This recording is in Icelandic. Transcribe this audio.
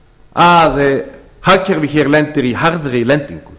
að hagkerfið hér lendir í harðri lendingu